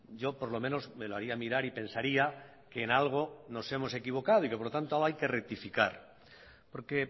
yo por lo menos me lo haría a mirar y pensaría que en algo nos hemos equivocado y que por lo tanto hay que rectificar porque